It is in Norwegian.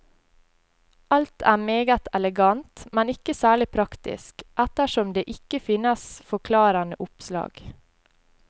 Alt er meget elegant, men ikke særlig praktisk, ettersom det ikke finnes forklarende oppslag.